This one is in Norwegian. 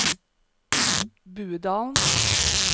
Budalen